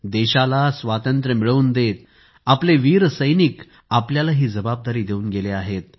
देशाला स्वातंत्र्य मिळवून देत आपले वीर सैनिक आपल्याला ही जबाबदारी देऊन गेले आहेत